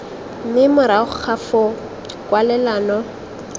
mme morago ga foo kwalelano